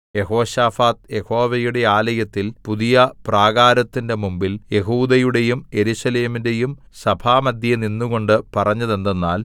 യെഹോശാഫാത്ത് യഹോവയുടെ ആലയത്തിൽ പുതിയ പ്രാകാരത്തിന്റെ മുമ്പിൽ യെഹൂദയുടെയും യെരൂശലേമിന്റെയും സഭാമദ്ധ്യേ നിന്നുകൊണ്ട് പറഞ്ഞതെന്തെന്നാൽ